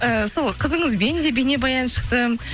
ііі сол қызыңызбен де бейнебаян шықты